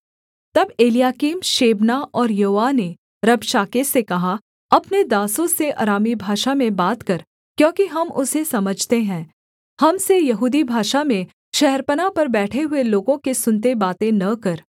तब Eliakim Shebna और Joah ने रबशाके से कहा अपने दासों से अरामी भाषा में बात कर क्योंकि हम उसे समझते हैं हम से यहूदी भाषा में शहरपनाह पर बैठे हुए लोगों के सुनते बातें न कर